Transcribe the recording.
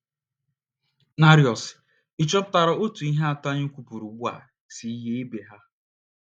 narios? Ị̀ chọpụtara otú ihe atọ a anyị kwupụrụ ugbu a si yie ibe ha?